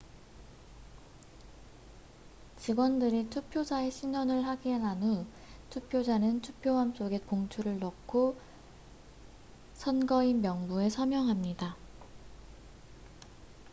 직원들이 투표자의 신원을 확인한 후 투표자는 투표함 속에 봉투를 넣고 선거인명부에 서명합니다